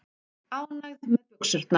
Ánægð með buxurnar.